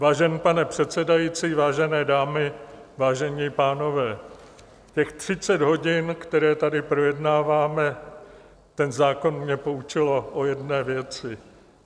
Vážený pane předsedající, vážené dámy, vážení pánové, těch 30 hodin, které tady projednáváme ten zákon, mě poučilo o jedné věci.